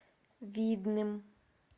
видным